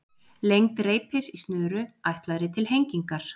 Lengd reipis í snöru ætlaðri til hengingar.